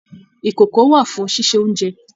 Ìkókó wà fún ṣíṣe oúnjẹ.